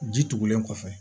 Ji tugulen kɔfɛ